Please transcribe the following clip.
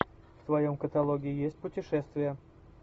в твоем каталоге есть путешествия